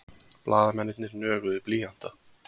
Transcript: Blaðamennirnir nöguðu blýanta.